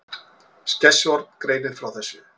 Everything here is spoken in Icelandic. Skessuhorn greinir frá þessu